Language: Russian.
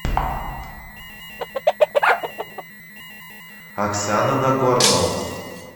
оксана нагорнова